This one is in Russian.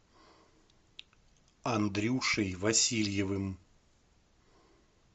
андрюшей васильевым